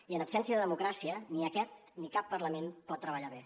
i en absència de democràcia ni aquest ni cap parlament pot treballar bé